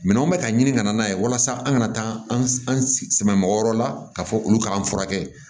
Minɛnw bɛ ka ɲini ka na n'a ye walasa an kana taa an sɛgɛn mɔgɔ wɛrɛ la ka fɔ olu k'an furakɛ